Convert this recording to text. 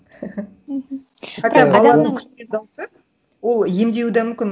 мхм баланың күлген дауысы ол емдеуі да мүмкін